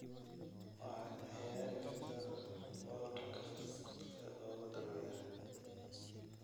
waxaad ciyaari kartaa podcast-ka ugu dambeeya